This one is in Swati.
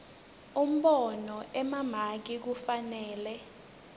umbono emamaki kufanele